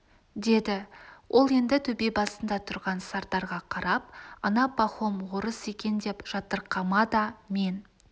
деді ол енді төбе басында тұрған сардарға қарап ана пахом орыс екен деп жатырқама да мен